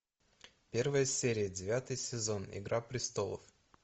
первая серия девятый сезон игра престолов